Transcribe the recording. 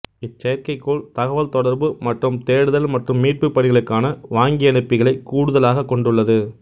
இச்செயற்கைக்கோள் தகவல் தொடர்பு மற்றும் தேடுதல் மற்றும் மீட்புப் பணிகளுக்கான வாங்கியனுப்பிகளைக் கூடுதலாகக் கொண்டுள்ளது